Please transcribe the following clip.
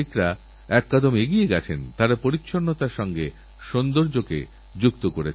এতবড় তপস্যা করার পরও তাঁদের চেহারায় কিছু নেবার কিছু পাওয়ার বাকিছু হওয়ার কোন চাহিদার প্রকাশ চোখে পড়েনি